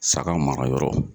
Saga mara yɔrɔ